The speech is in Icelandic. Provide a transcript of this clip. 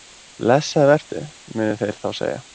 Blessaður vertu, munu þeir þá segja.